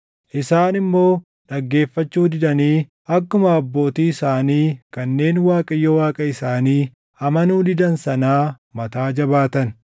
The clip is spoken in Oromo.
Isaan immoo dhaggeeffachuu didanii akkuma abbootii isaanii kanneen Waaqayyo Waaqa isaanii amanuu didan sanaa mataa jabaatan.